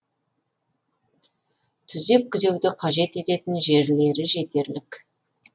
түзеп күзеуді қажет ететін жерлері жетерлік